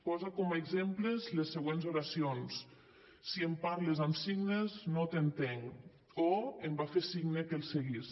posa com a exemples les següents oracions si em parles amb signes no t’entenc o em va fer signe que el seguís